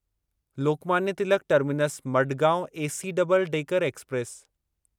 Lokmanya Tilak terminus Madgaon AC double decker express